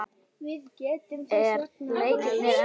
Er Leiknir ennþá lifandi?